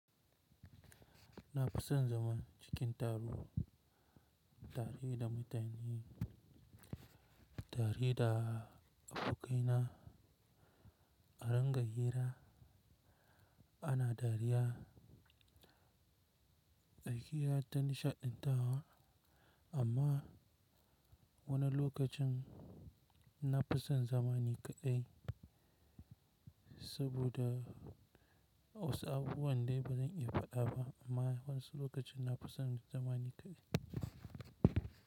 Na fi son zaman cikin taro tare da mutane, tare da abokaina a ringa hira ana dariya, ayi hira ta nishaɗantarwa amma wani lokacin na fi son zaman ni kaɗai saboda wasu abu waɗanda ba zan iya faɗawa amma wasu lokacin na fi son zaman ni kaɗai.